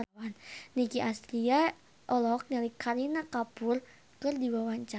Nicky Astria olohok ningali Kareena Kapoor keur diwawancara